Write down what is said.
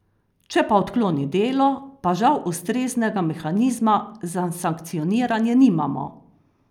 Če pa odkloni delo, pa žal ustreznega mehanizma za sankcioniranje nimamo.